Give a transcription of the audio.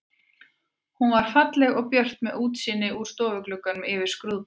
Hún var falleg og björt með útsýni úr stofugluggunum yfir skrúðgarðinn.